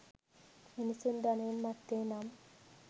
මිනිසුන් ධනයෙන් මත්වේ නම්